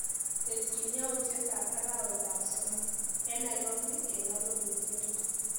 Tesyi yautyetap arawetap somok eng Nairobi eng arorutienyu.